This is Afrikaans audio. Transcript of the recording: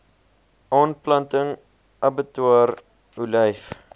aanplanting abbatior olyf